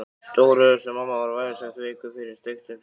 Stóri Össur-Mamma var vægast sagt veikur fyrir steiktum hrygg.